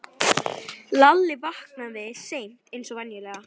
Lalli vaknaði seint eins og venjulega.